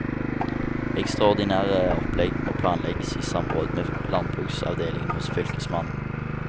Ekstraordinære opplegg må planlegges i samråd med landbruksavdelingen hos fylkesmannen.